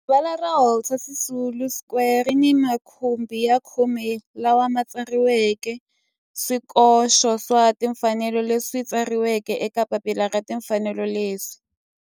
Rivala ra Walter Sisulu Square ri ni makhumbi ya khume lawa ma tsariweke swikoxo swa timfanelo leswi tsariweke eka papila ra timfanelo leswi.